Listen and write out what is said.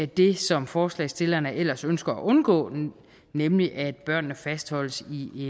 det som forslagsstillerne ellers ønsker at undgå nemlig at børnene fastholdes i